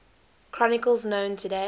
chronicles known today